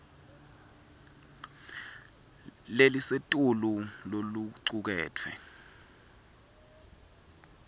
lelisetulu lokucuketfwe